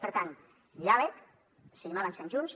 per tant diàleg seguim avançant junts